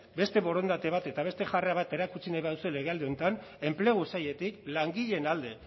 beste borondate bat eta beste jarrera bat erakutsi nahi baduzue legealdi honetan enplegu sailetik langileen alde